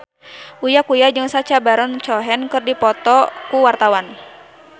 Uya Kuya jeung Sacha Baron Cohen keur dipoto ku wartawan